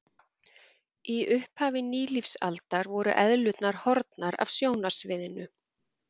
Í upphafi nýlífsaldar voru eðlurnar horfnar af sjónarsviðinu.